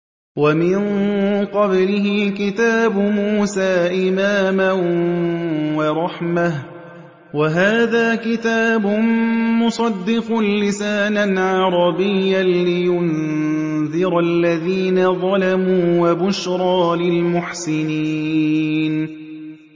وَمِن قَبْلِهِ كِتَابُ مُوسَىٰ إِمَامًا وَرَحْمَةً ۚ وَهَٰذَا كِتَابٌ مُّصَدِّقٌ لِّسَانًا عَرَبِيًّا لِّيُنذِرَ الَّذِينَ ظَلَمُوا وَبُشْرَىٰ لِلْمُحْسِنِينَ